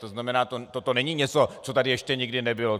To znamená, toto není něco, co tady ještě nikdy nebylo.